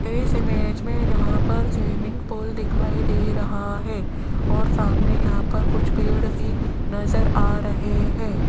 इस इमेज में यहां पर स्विमिंग पूल दिखाई दे रहा है और सामने यहां पर कुछ पेड़ भी नजर आ रहे हैं।